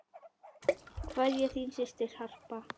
Kveðja, þín systir Harpa.